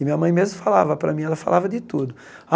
E minha mãe mesmo falava para mim, ela falava de tudo.